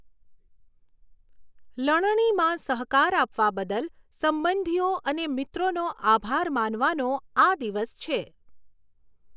લણણીમાં સહકાર આપવા બદલ સંબંધીઓ અને મિત્રોનો આભાર માનવાનો આ દિવસ છે.